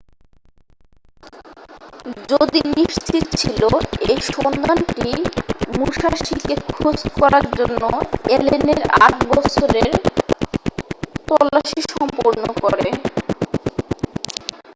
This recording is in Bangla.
যদি নিশ্চিৎ ছিল এই সন্ধানটি মুশাসিকে খোঁজ করার জন্য অ্যালেনের আট বছর এর তল্লাসি সম্পূর্ণ করে